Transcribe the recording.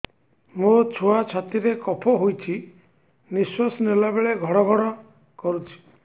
ମୋ ଛୁଆ ଛାତି ରେ କଫ ହୋଇଛି ନିଶ୍ୱାସ ନେଲା ବେଳେ ଘଡ ଘଡ କରୁଛି